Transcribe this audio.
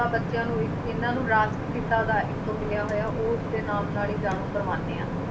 ਤਾਂ ਬੱਚਿਆਂ ਨੂੰ ਇੱਕ ਇਹਨਾਂ ਨੂੰ ਰਾਸ਼ਟਰ ਪਿਤਾ ਦਾ ਇੱਕ ਮਿਲਿਆ ਹੋਇਆ ਉਸਦੇ ਨਾਮ ਨਾਲ ਹੀ ਜਾਣੂ ਕਰਵਾਉਂਦੇ ਹਾਂ।